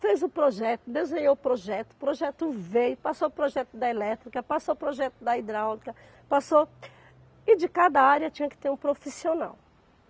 fez o projeto, desenhou o projeto, o projeto veio, passou o projeto da elétrica, passou o projeto da hidráulica, passou... E de cada área tinha que ter um profissional.